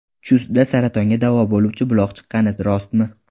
Chustda saratonga davo bo‘luvchi buloq chiqqani rostmi?